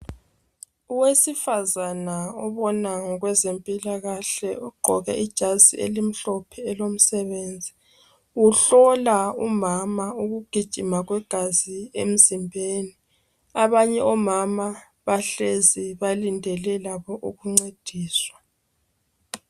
Owesifazana obona ngokweze mpila kahle uqgoke ijazi elimhlophe elomsebenzi uhlola umama ukugijima kwegazi emzimbeni abanye omama bahlezi balindele labo ukuncediswa